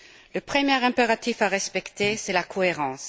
Le premier impératif à respecter, c'est la cohérence.